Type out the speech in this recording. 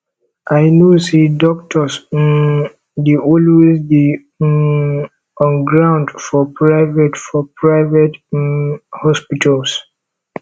i know sey doctors um dey always dey um on ground for private for private um hospitals